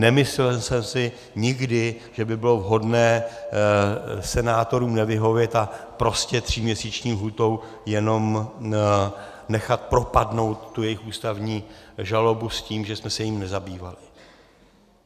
Nemyslel jsem si nikdy, že by bylo vhodné senátorům nevyhovět a prostě tříměsíční lhůtou jenom nechat propadnout tu jejich ústavní žalobu s tím, že jsme se jí nezabývali.